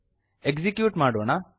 execute ಮಾಡೋಣ